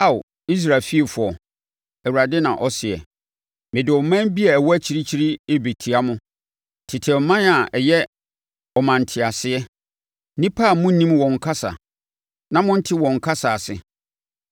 Ao, Israel fiefoɔ,” Awurade na ɔseɛ, “Mede ɔman bi a ɛwɔ akyirikyiri rebɛtia wo, tete ɔman a ɛyɛ ɔmantease, nnipa a monnim wɔn kasa, na monnte wɔn kasa ase.